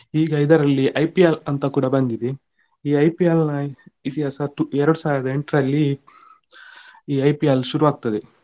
ಈಗ ಇದರಲ್ಲಿ IPL ಅಂತ ಕೂಡ ಬಂದಿದೆ ಈ IPL ನ ಇತಿಹಾಸ ಎರಡು ಸಾವಿರದ ಎಂಟರಲ್ಲಿ ಈ IPL ಶುರು ಆಗ್ತದೆ.